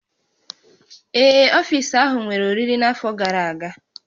Ee, ọfiisi ahụ nwere oriri n'afọ gara aga